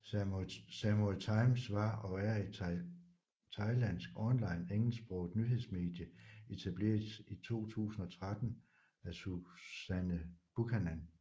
Samui Times var og er et thailandsk online engelsksproget nyhedsmedie etableret i 2013 af Suzanne Buchanan